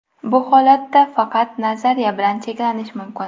Bu holatda faqat nazariya bilan cheklanish mumkin.